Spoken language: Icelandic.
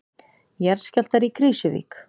Jarðskjálftar í Krýsuvík